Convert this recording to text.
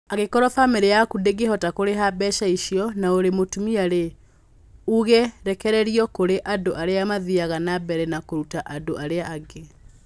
Angĩkorũo famĩlĩ yaku ndĩngĩhota kũrĩha mbeca icio, na ũrĩ mũtumia-rĩ, ũgũrekererio kũrĩ andũ arĩa mathiaga na mbere na kũruta andũ arĩa angĩ.